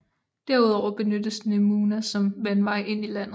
Derudover benyttes Nemunas som vandvej ind i landet